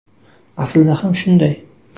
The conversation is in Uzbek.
Aslida ham shunday”.